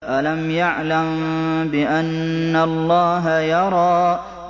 أَلَمْ يَعْلَم بِأَنَّ اللَّهَ يَرَىٰ